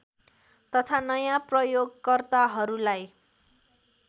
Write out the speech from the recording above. तथा नयाँ प्रयोगकर्ताहरूलाई